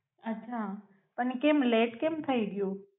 અચ્છા પણ કેમ લેટ કેમ થાઈ ગ્યુ?